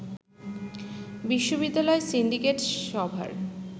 বিশ্ববিদ্যালয়ে সিন্ডিকেট সভার